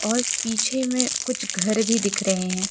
और पीछे में कुछ घर भी दिख रहे हैं।